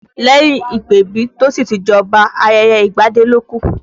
Lẹ́yìn ìpèbí tí ó sì ti jẹ́ Ọba, ayẹyẹ ìgbadé ló kù